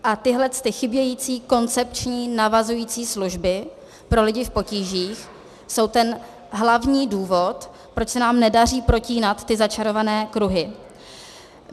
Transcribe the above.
A tyhlety chybějící koncepční navazující služby pro lidi v potížích jsou ten hlavní důvod, proč se nám nedaří protínat ty začarované kruhy.